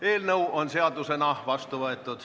Eelnõu on seadusena vastu võetud.